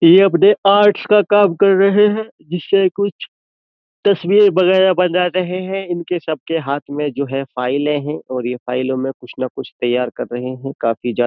ये अपने आर्ट्स का काम कर रहे हैं जिससे कुछ तस्वीर वगैरह बना रहे हैं इनके सबके हाथ में जो है फाइलें हैं और ये फाइलों में कुछ ना कुछ तैयार कर रहे हैं काफी ज्यादा --